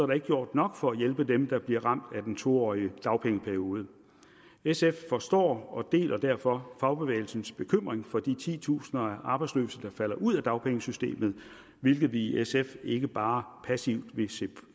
der ikke gjort nok for at hjælpe dem der bliver ramt af den to årige dagpengeperiode sf forstår og deler derfor fagbevægelsens bekymring for de titusinde af arbejdsløse der falder ud af dagpengesystemet hvilke vi i sf ikke bare passivt vil